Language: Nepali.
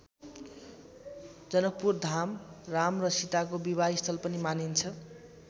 जनकपुरधाम राम र सीताको विवाहस्थल पनि मानिन्छ।